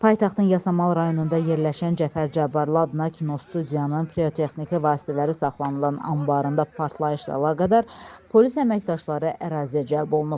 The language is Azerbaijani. Paytaxtın Yasamal rayonunda yerləşən Cəfər Cabbarlı adına kinostudiyanın pirotexniki vasitələri saxlanılan anbarında partlayışla əlaqədar polis əməkdaşları əraziyə cəlb olunub.